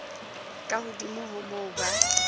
ka hodimo ho moo ba